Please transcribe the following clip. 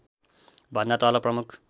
भन्दा तल प्रमुख